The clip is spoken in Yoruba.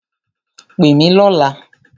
Pè mí lọ̀la!